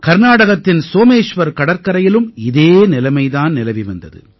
கர்நாடகத்தின் சோமேஷ்வர் கடற்கரையிலும் இதே நிலைமை தான் நிலவி வந்தது